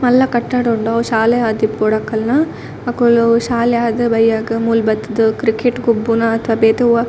ಮಲ್ಲ ಕಟ್ಟಡ ಉಂಡು ಅವು ಶಾಲೆ ಆದಿಪ್ಪೊಡು ಅಕಲ್ನ ಅಕುಲು ಶಾಲೆ ಆದ್ ಬಯ್ಯಗ್ ಮೂಲು ಬತ್ತ್ ದ್ ಕ್ರಿಕೆಟ್ ಗೊಬ್ಬುನ ಅತಾ ಬೇತೆ ಒವಾ --